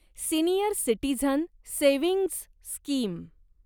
senior citizen savings scheme